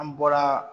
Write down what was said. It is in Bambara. An bɔra